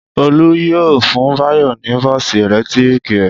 Olú yóò fún Báyọ̀ ní bọ́ọ́sì ẹ̀lẹ́tíríkì rẹ̀.